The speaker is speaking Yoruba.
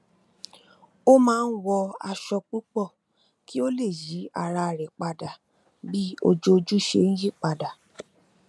ó ma n wọ aṣọ púpọ kí ó lè yí ara rẹ padà bí ojúọjọ ṣe ń yí padà